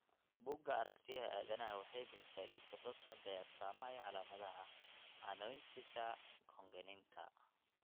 Buugga Aragtiyaha Aadanahawaxay bixisaa liiska soo socda ee astamaha iyo calaamadaha Anonychia congenita.